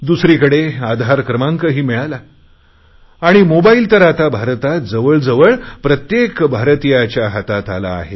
दुसरीकडे आधार क्रमांकही मिळाला आणि मोबाईल तर आता भारतात जवळजवळ प्रत्येक भारतीयांच्या हातात आला आहे